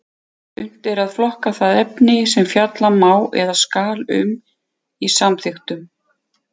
Unnt er að flokka það efni sem fjalla má eða skal um í samþykktum.